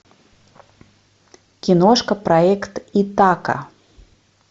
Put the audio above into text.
киношка проект итака